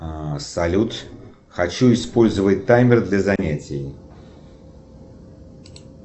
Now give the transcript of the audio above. салют хочу использовать таймер для занятий